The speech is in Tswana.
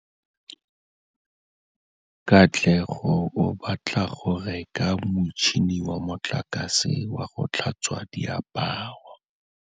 Katlego o batla go reka motšhine wa motlakase wa go tlhatswa diaparo.